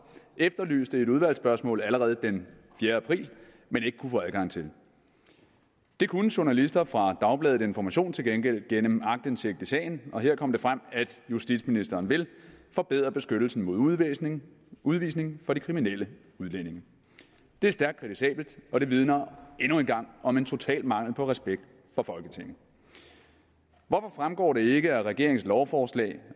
efterlyste i et udvalgsspørgsmål allerede den fjerde april men ikke kunne få adgang til det kunne journalister fra dagbladet information til gengæld gennem aktindsigt i sagen og her kom det frem at justitsministeren vil forbedre beskyttelsen mod udvisning udvisning for de kriminelle udlændinge det er stærkt kritisabelt og det vidner endnu en gang om en total mangel på respekt for folketinget hvorfor fremgår det ikke af regeringens lovforslag